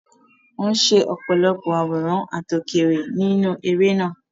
Wọ́n ṣe ọ̀pọ̀lọpọ̀ àwòrán àtòkèèrè nínú eré náà.